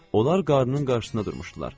Onlar qarnının qarşısında durmuşdular.